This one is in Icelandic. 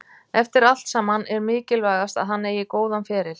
Eftir allt saman er mikilvægast að hann eigi góðan feril.